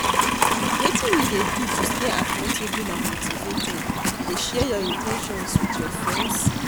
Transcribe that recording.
Wetin you dey do to stay accountable and motivated, you dey share your in ten tions with your friends?